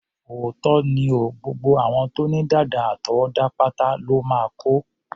Òótọ́ ni o, gbogbo àwọn tó ní dàdà àtọwọ́dá pátá lọ́ máa kó.